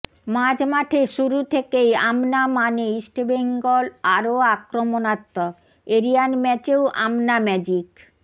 মাঝমাঠে শুরু থেকেই আমনা মানে ইস্টবেঙ্গল আরও আক্রমণাত্মক এরিয়ান ম্যাচেও আমনা ম্যাজিক